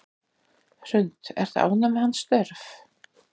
Hrund: Ertu ánægður með hans störf?